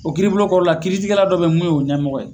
O kirbulon kɔnɔna na, kiritigɛra dɔ bɛ mun ye o ɲɛmɔgɔ ye!